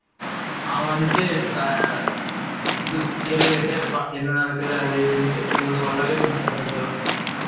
அவ வந்துட்டு கேள்வி கேட்டுக்கிட்டே இருப்பா என்ன நடக்குது அது, இதுண்ட்டு இவ சொல்லவே மாட்டா டோக்கியோ.